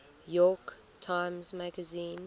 york times magazine